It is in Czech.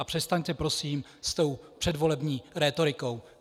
A přestaňte prosím s tou předvolební rétorikou.